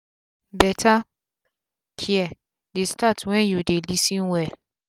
beta care dey start wen u dey lis ten well um